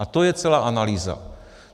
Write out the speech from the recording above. A to je celá analýza.